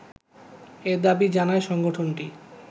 এ দাবি জানায় সংগঠনটি